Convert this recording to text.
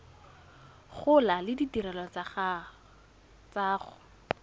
gola le ditirelo tsa go